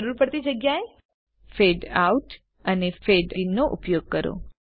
જરૂર પડતી જગ્યાએ ફળે આઉટ અને ફળે ઇન નો ઉપયોગ કરો